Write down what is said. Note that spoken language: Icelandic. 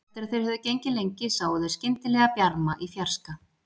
Eftir að þeir höfðu gengið lengi sáu þeir skyndilega bjarma í fjarska.